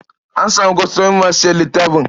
An samu kwastomomi masu sayan littafin?